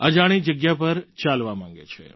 અજાણી જગ્યા પર ચાલવા માગે છે